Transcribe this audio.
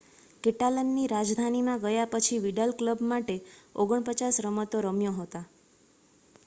કેટાલનની રાજધાનીમાં ગયા પછી વિડાલ ક્લબ માટે 49 રમતો રમ્યો હતા